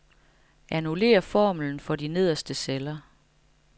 Annullér formlen for de nederste celler.